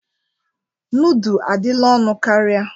Nọọdụ adịla ọnụ karịa.